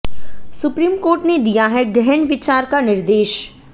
supreme court ने दिया है गहन विचार का निर्देश